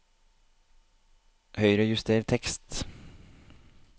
Høyrejuster tekst